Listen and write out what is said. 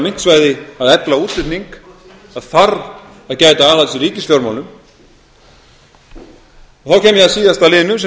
myntsvæði að efla útflutning það þarf að gæta aðhalds í ríkisfjármálum þá kem ég að síðasta liðnum sem